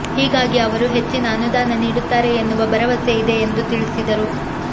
ಹೀಗಾಗಿ ಅವರು ಹೆಚ್ಚಿನ ಅನುದಾನ ನೀಡುತ್ತಾರೆ ಎನ್ನುವ ಭರವಸೆ ಇದೆ ಎಂದು ತಿಳಿಸಿದರು